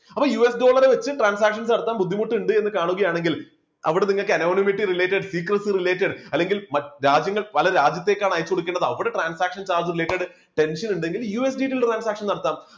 അപ്പോ US Dollar വെച്ച് transactions നടത്താൻ ബുദ്ധിമുട്ടുണ്ട് എന്ന് കാണുകയാണെങ്കിൽ അവിടെ നിങ്ങൾക്ക് annominaty related secrecy related അല്ലെങ്കിൽ രാജ്യങ്ങൾ പല രാജ്യത്തേക്കാണ് അയച്ചു കൊടുക്കേണ്ടത് അവിടെ transactions related tension ഉണ്ടെങ്കിൽ USBT ൽ transaction നടത്താം